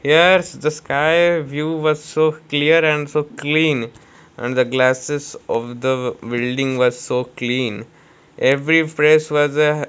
here's the sky view was so clear and so clean and the glasses of the building was so clean every face was a --